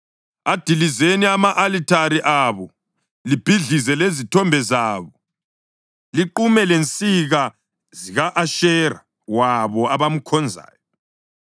Adilizeni ama-alithare abo, libhidlize lezithombe zabo, liqume lezinsika zika-Ashera wabo abamkhonzayo.